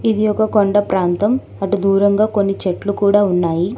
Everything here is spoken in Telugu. ఇది ఒక కొండ ప్రాంతం అటు దూరంగా కొన్ని చెట్లు కూడా ఉన్నాయి.